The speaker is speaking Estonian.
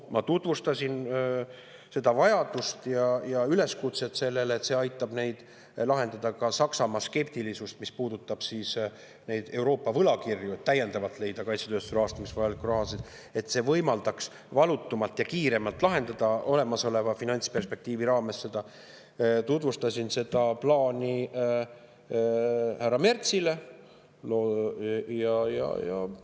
Ma tutvustasin seda vajadust ja üleskutset selles loogikas, et see aitab vähendada ka Saksamaa skeptilisust, mis puudutab neid Euroopa võlakirju, et täiendavalt leida kaitsetööstuse rahastamiseks vajalikku raha ja võimaldada seda valutumalt ja kiiremalt olemasoleva finantsperspektiivi raames lahendada, seda plaani ma tutvustasin härra Merzile.